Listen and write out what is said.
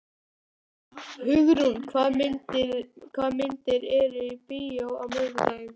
Hugrún, hvaða myndir eru í bíó á miðvikudaginn?